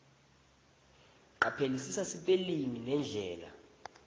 caphelisisa sipelingi nendlela